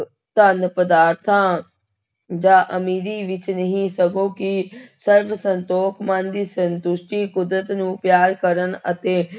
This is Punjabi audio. ਧਨ, ਪਦਾਰਥਾਂ ਜਾਂ ਅਮੀਰੀ ਵਿੱਚ ਨਹੀਂ ਸਗੋਂ ਕਿ ਸਰਬ ਸੰਤੋਖ ਮਨ ਦੀ ਸੰਤੁਸ਼ਟੀ, ਕੁਦਰਤ ਨੂੰ ਪਿਆਰ ਕਰਨ ਅਤੇ